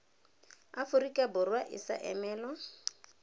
aforika borwa e sa emelwa